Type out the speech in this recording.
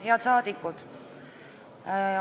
Head saadikud!